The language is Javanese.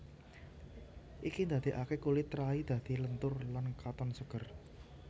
Iki ndadekake kulit rai dadi lentur lan katon seger